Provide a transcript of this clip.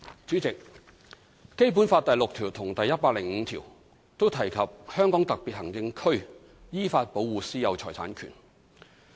主席，《基本法》第六條及第一百零五條均提及香港特別行政區依法保護"私有財產權"。